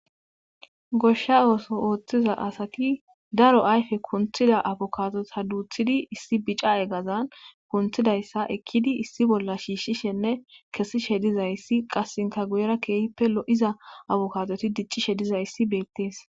Gosha ooso oothiza asati daro ayfe kunkiza afokaadota duuthidi issi bica eqazan kunthidayssa ekkidi issi bolla shiishishenne kessishe dizayssi qassinkja guyera keehippe lo7iza abukaadoti diccishe dizayssi beettees.